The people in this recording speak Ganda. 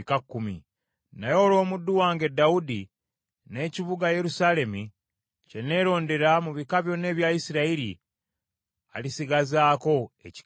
Naye olw’omuddu wange Dawudi n’ekibuga Yerusaalemi, kye neerondera mu bika byonna ebya Isirayiri, alisigazaako ekika kimu.